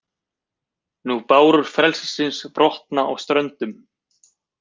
Nú bárur frelsis brotna á ströndum,